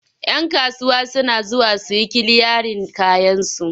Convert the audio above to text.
Yan kasuwa suna zuwa su yi kiliyarin kayansu.